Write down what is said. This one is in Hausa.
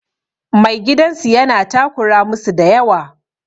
Mai gidan su yana takura musu da yawa.